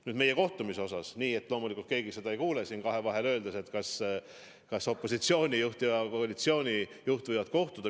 Nüüd, meie kohtumisest, nii et keegi seda ei kuule ja kahevahel – et kas opositsioonijuht ja koalitsioonijuht võivad kohtuda?